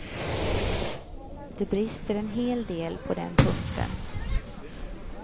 Det brister en hel del på den punkten.